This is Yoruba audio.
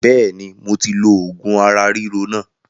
Bẹ́ẹ̀ni moti lo oògùn ara ríro náà